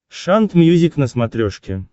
шант мьюзик на смотрешке